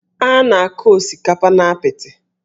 A na-akụ osikapa n'apịtị